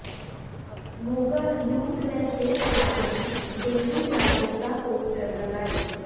Moga youth welfare club ਨੇ dengue ਜਾਗਰੂਕਤਾ poster ਲਗਾਏ